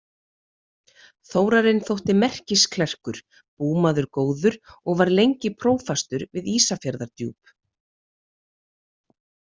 Þórarinn þótti merkisklerkur, búmaður góður og var lengi prófastur við Ísafjarðardjúp.